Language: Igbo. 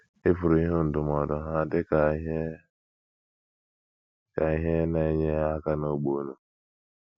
Ị pụrụ ịhụ ndụmọdụ ha dị ka ihe ka ihe na - enye aka n’ógbè unu.